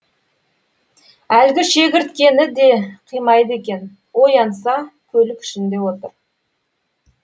әлгі шегірткені де қимайды екен оянса көлік ішінде отыр